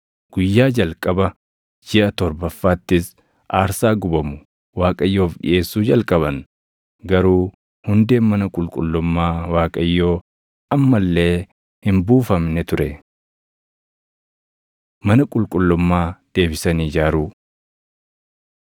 Guyyaa jalqaba jiʼa torbaffaattis aarsaa gubamu Waaqayyoof dhiʼeessuu jalqaban; garuu hundeen mana qulqullummaa Waaqayyoo amma illee hin buufamne ture. Mana Qulqullummaa Deebisanii Ijaaruu